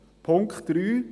Punkt 3